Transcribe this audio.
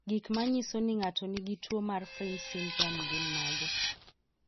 Gik manyiso ni ng'ato nigi tuwo mar Fryns syndrome gin mage?